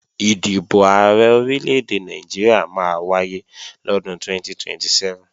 Ìdìbò Ààrẹ Orílè-èdè Nàìjíríà máa wáyé lọ́dún 2027